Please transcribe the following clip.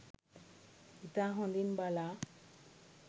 ඉතා හොඳින් බලා